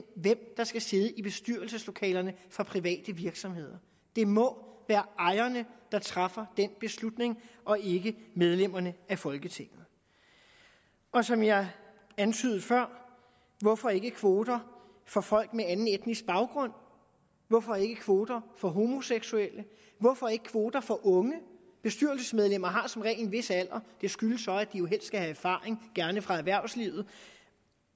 hvem der skal sidde i bestyrelseslokalerne for private virksomheder det må være ejerne der træffer den beslutning og ikke medlemmerne af folketinget og som jeg antydede før hvorfor ikke kvoter for folk med anden etnisk baggrund hvorfor ikke kvoter for homoseksuelle hvorfor ikke kvoter for unge bestyrelsesmedlemmer har som regel en vis alder og det skyldes så at de jo skal have erfaring gerne fra erhvervslivet